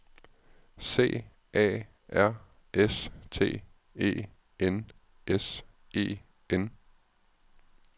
C A R S T E N S E N